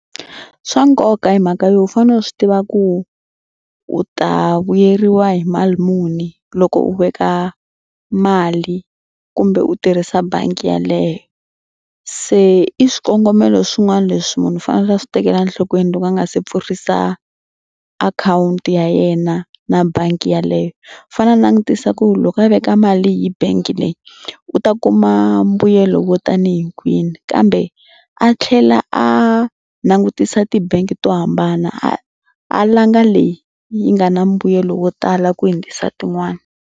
Swa nkoka hi mhaka yo u fanele u swi tiva ku u ta vuyeriwa hi mali muni loko u veka mali kumbe u tirhisa bangi yaleyo. Se i swikongomelo swin'wana leswi munhu u fanele a swi tekela enhlokweni loko a nga se pfurhisa akhawunti ya yena na bangi yaleyo. Fanele a langutisa ku loko a veka mali hi bangi leyi u ta kuma mbuyelo wo tanihi kwini kambe a tlhela a langutisa tibangi to hambana a a langa leyi yi nga na mbuyelo wo tala ku hundzisa tin'wana.